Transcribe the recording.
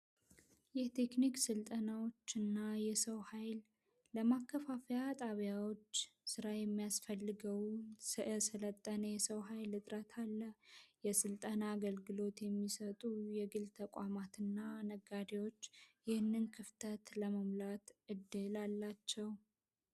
የቴክኒክ ስልጠናዎችና የሰው ኃይል ጣቢያዎች ስራ የሚያስፈልገው ስለኔ ሰው ኃይል ዕጥታ የስልጠና አገልግሎት የሚሰጡና ነጋዴዎች ይህንን ክፍተት ለመሙላት እድል አላቸው።